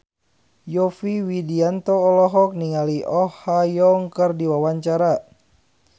Yovie Widianto olohok ningali Oh Ha Young keur diwawancara